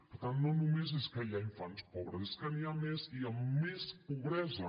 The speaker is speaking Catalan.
per tant no només és que hi hagi infants pobres és que n’hi ha més i amb més pobresa